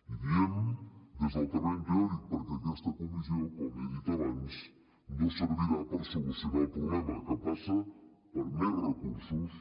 i diem des del terreny teòric perquè aquesta comissió com he dit abans no servirà per solucionar el problema que passa per més recursos